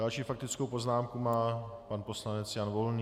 Další faktickou poznámku má pan poslanec Jan Volný.